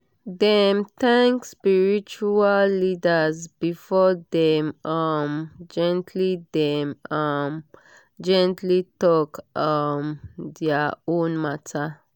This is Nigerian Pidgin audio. dem thank spiritual leaders before dem um gently dem um gently talk um dia own matter